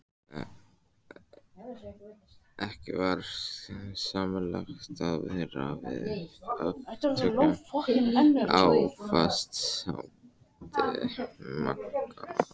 Ekki var skynsamlegt að vera við aftöku á fastandi maga.